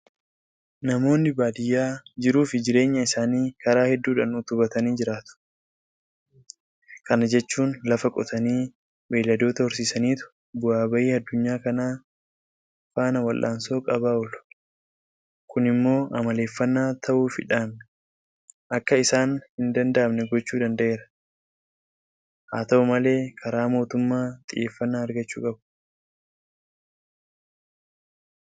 Namoonni baadiyyaa jiruufi jireenya isaanii karaa hedduudhaan utubatanii jiraatu. Kana jechuun lafa qotanii, Beelladoota horsiisaniitu bu'aa bayii addunyaa kanaa faana waldhaansoo qabaa oolu. Kun immoo amaleeffannaa ta'uufiidhaan akka isaan hindanda'amne gochuu danda'eera. Haata'u malee karaa mootummaa xiyyeeffannaa argachuu qabu.